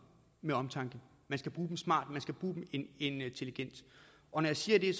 med omtanke man skal bruge dem smart man skal bruge dem intelligent og når jeg siger det er